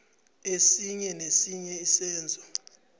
esinye nesinye isenzo